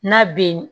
N'a bɛ